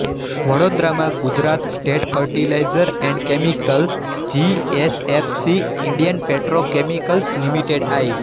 વડોદરા માં Gujarat state fertiliser and chemicals G S F C Indian petrochemicals limited I